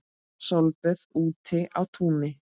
Sólböð úti á túni.